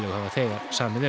hafa þegar samið um